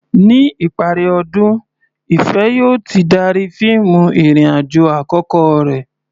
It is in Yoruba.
Ní ìparí ọdún, Ìfẹ̀ yóò ti darí fíìmù ìrìn-àjò àkọ́kọ́ rẹ̀.